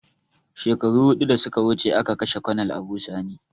Shekaru hudu da suka wuce a ka kashe konel Abu sani